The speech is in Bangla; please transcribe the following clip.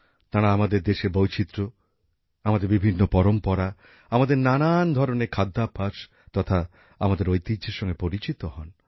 তাঁরা আমাদের দেশের বৈচিত্র আমাদের বিভিন্ন পরম্পরা আমাদের নানান ধরনের খাদ্যাভ্যাস তথা আমাদের ঐতিহ্যের সঙ্গে পরিচিত হন